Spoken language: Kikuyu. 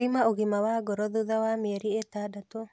Thima ũgima wa ngoro thutha wa mĩeri ĩtandatũ